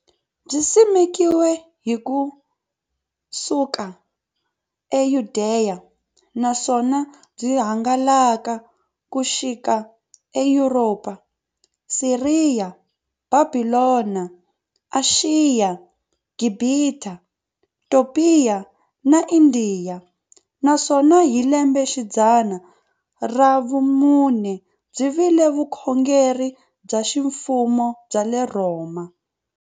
Byisimekiwe ku suka e Yudeya, naswona byi hangalake ku xika e Yuropa, Siriya, Bhabhilona, Ashiya, Gibhita, Topiya na Indiya, naswona hi lembexidzana ra vumune byi vile vukhongeri bya ximfumo bya le Rhoma.